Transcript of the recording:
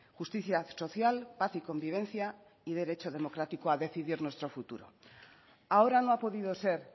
justicia social paz y convivencia y derecho democrático a decidir nuestro futuro ahora no ha podido ser